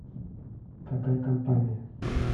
какая компания